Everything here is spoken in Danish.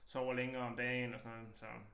Sover længere om dagen og sådan noget så